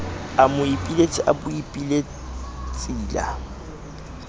a moipiletsi a boipilets la